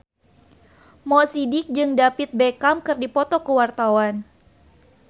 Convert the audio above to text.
Mo Sidik jeung David Beckham keur dipoto ku wartawan